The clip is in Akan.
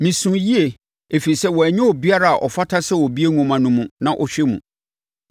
Mesuu yie, ɛfiri sɛ wɔannya obiara a ɔfata sɛ ɔbue nwoma no mu na ɔhwɛ mu.